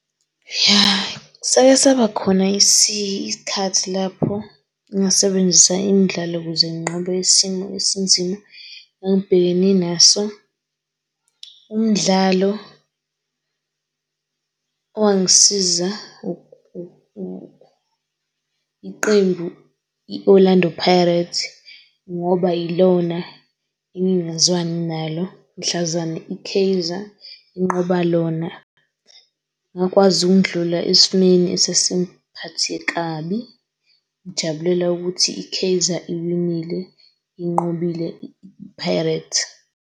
Ya sake saba khona isikhathi lapho ngasebenzisa imdlalo ukuze ngiqobe isimo esinzima engangibhekene naso. Umdlalo owangisiza iqembu i-Orlando Pirates ngoba ilona engingazwani nalo mhlazane i-Kaizer inqobo lona. Ngakwazi ukundlula esimeni esasing'phaxthe kabi. Ngijabulela ukuthi i-Kaizer iwinile inqobile i-Pirates